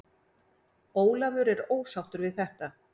Ólafur er ósáttur við þetta.